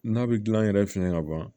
N'a bɛ gilan yɛrɛ fiɲɛ ka ban